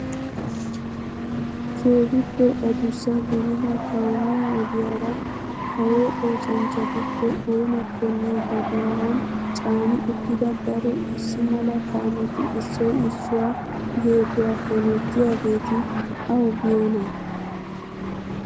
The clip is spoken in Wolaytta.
Keehippe adussa gidida kaamiyaa ogiyaara kaawo oosanchchatuppe oonakonne ba bollan caani uttida daro issi mala kaameti issoy issuwaa geeduwaa hemettiyaageti awu biyoonaa?